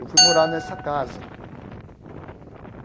Eu fui morar nessa casa.